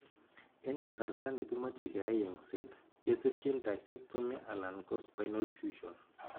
En kasarta negimache keyai yenset ketesyin discectomy alan ko spinal fusion.